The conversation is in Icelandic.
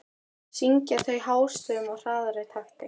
Syngja þau hástöfum í hraðari takti.